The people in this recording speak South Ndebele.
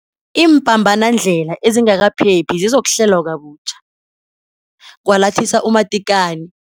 Iimpambanandlela ezingakaphephi zizokuhlelwa kabutjha, kwalathisa u-Matekane.